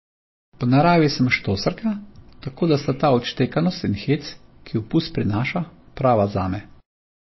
Po naravi sem štoserka, tako da sta ta odštekanost in hec, ki ju pust prinaša, prava zame.